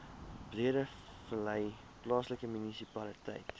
breedevallei plaaslike munisipaliteit